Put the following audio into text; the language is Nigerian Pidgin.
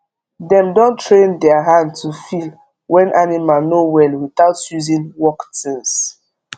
dem don train der hand to feel when animal no well without using work tins